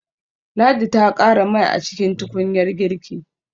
Ladi ta ƙara mai a cikin tukunyar girki.